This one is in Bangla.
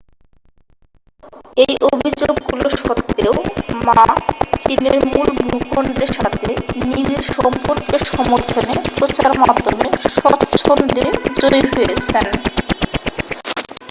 এই অভিযোগগুলো সত্ত্বেও মা চীনের মূল ভূখণ্ডের সাথে নিবিড় সম্পর্কের সমর্থনে প্রচার মাধ্যমে স্বচ্ছন্দে জয়ী হয়েছেন